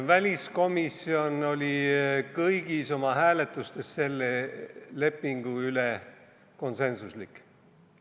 Väliskomisjon oli kõigis oma hääletustes selle lepingu üle konsensuslik.